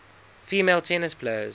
female tennis players